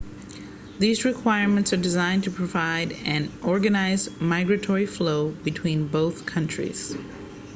these requirements are designed to provide an organized migratory flow between both countries